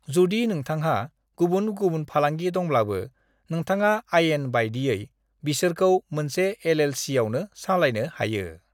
"जुदि नोंथांहा गुबुन गुबुन फालांगि दंब्लाबो, नोथाङा अयन बायदियै बिसोरखौ मोनसे एल.एल. सि. आवनो सालायनो हायो।"